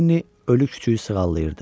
Lenni ölü kiçüyü sığallayırdı.